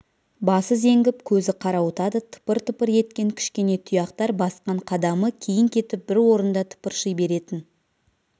басы зеңгіп көзі қарауытады тыпыр-тыпыр еткен кішкене тұяқтар басқан қадамы кейін кетіп бір орында тыпырши беретін